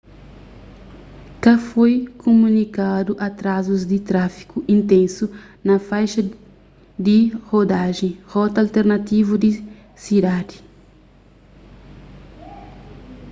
ka foi kumunikadu atrazus di tráfigu intensu na faixa di rodajen rota alternativu di sidadi